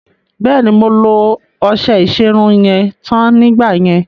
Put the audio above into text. Bẹ́ẹ̀ni, mo lo ọṣẹ ìṣerun yẹn tán nígbà yẹn.